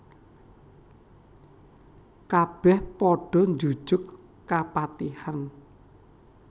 Kabèh padha njujug kapatihan